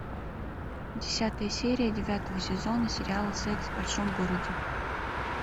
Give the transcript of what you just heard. десятая серия девятого сезона сериала секс в большом городе